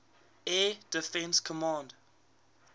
air defense command